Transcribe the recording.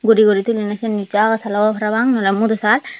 guri guri tinen nicho agasal obo parapang nole mudosal.